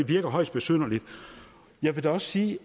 virker højst besynderligt jeg vil da også sige